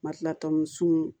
Ma kila tɔmuso sun